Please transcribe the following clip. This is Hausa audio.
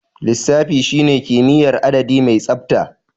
Lissafi shine kimiyyar adadi mai tsabta.